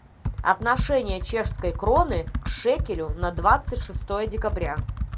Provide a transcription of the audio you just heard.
отношение чешской кроны к шекелю на двадцать шестое декабря